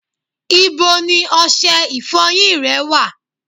Ibo ni ọṣẹ ìfọyín rẹ wà?